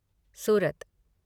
सूरत